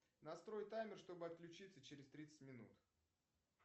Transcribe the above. настрой таймер чтобы отключиться через тридцать минут